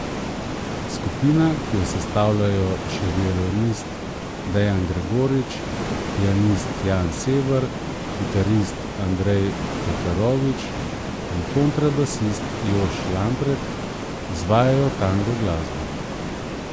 Skupina, ki jo sestavljajo še violinist Dejan Gregorič, pianist Jan Sever, kitarist Andrej Pekarovič in kontrabasist Jošt Lampret, izvajajo tango glasbo.